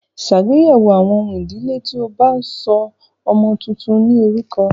Ṣàgbéyẹ̀wò àwọn ohun tó ń fa ìdílé nígbà tí o bá ń sọ orúkọ ọmọ tuntun náà ní orúkọ.